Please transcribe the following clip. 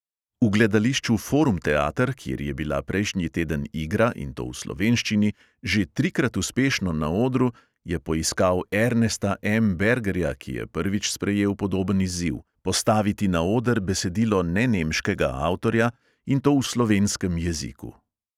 V gledališču forum teater, kjer je bila prejšnji teden igra, in to v slovenščini, že trikrat uspešno na odru, je poiskal ernesta M bergerja, ki je prvič sprejel podoben izziv: postaviti na oder besedilo nenemškega avtorja, in to v slovenskem jeziku!